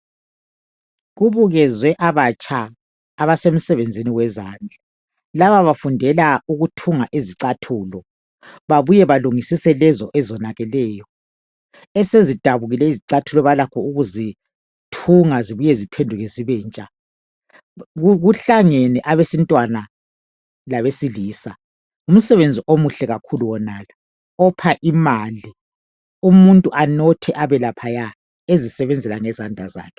Kubukezwe abatsha abasemsebenzini wezandla. Laba bafundela ukuthunga izicathulo babuye balungisise lezi ezonakeleyo esezidabukile izicathulo balakho ukuzithunga zibuye ziphenduke zibentsha. Kuhlangene abesifazana labesilsa. Ngumsebenzi omuhle kakhulu wonalo opha imali umuntu anothe abe laphaya ezisebenzela ngezandla zakhe.